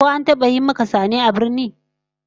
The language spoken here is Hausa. Ko an taba yi maka sane a birni?